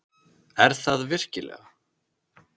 Er það virkilega?